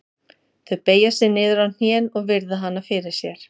Þau beygja sig niður á hnén og virða hana fyrir sér.